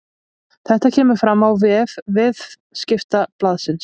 Þetta kemur fram á vef Viðskiptablaðsins